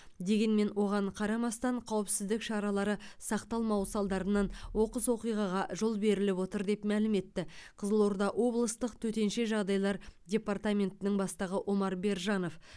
дегенмен оған қарамастан қауіпсіздік шаралары сақталмауы салдарынан оқыс оқиғаға жол беріліп отыр деп мәлім етті қызылорда облыстық төтенше жағдайлар департаментінің бастығы омар бержанов